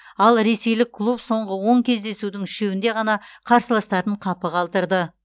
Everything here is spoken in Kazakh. ал ресейлік клуб соңғы он кездесудің үшеуінде ғана қарсыластарын қапы қалдырды